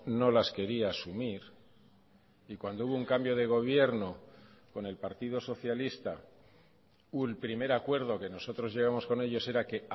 no las quería asumir y cuando hubo un cambio de gobierno con el partido socialista un primer acuerdo que nosotros llevamos con ellos era que